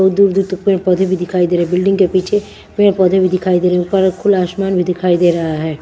और दूर दूर तक पेड़ पौधे भी दिखाई दे रहे है बिल्डिंग के पीछे पेड़ पौधे भी दिखाई दे रहे हैं ऊपर खुला आसमान भी दिखाई दे रहा है।